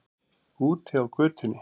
Úti á götunni.